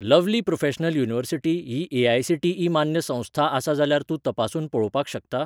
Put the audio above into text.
Lovely Professional University ही AICTE. मान्य संस्था आसा जाल्यार तूं तपासून पळोवपाक शकता?